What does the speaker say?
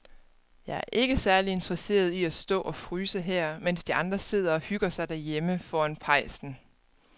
Jeg er ikke særlig interesseret i at stå og fryse her, mens de andre sidder og hygger sig derhjemme foran pejsen.